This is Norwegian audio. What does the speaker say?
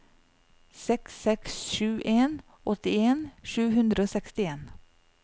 seks seks sju en åttien sju hundre og sekstien